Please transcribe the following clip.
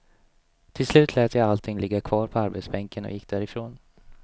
Till slut lät jag allting ligga kvar på arbetsbänken och gick därifrån.